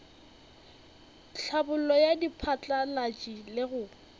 tlhabollo ya diphatlalatši le go